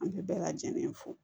An bɛ bɛɛ lajɛlen fo